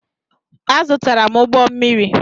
Azụtara m ụgbọ mmiri.